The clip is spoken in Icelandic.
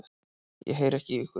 Ég heyri ekki í ykkur.